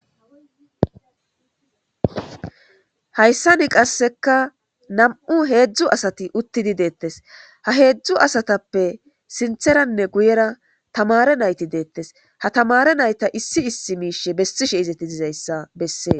Hayssa ni qasseka nam7u heedzdzu asati uttidi deettes ha heedzdzu asatappe sintheranne guyera tamare nayti deettes ha tamare nayta issi issi miishe bessishe izeti dizayssa bessee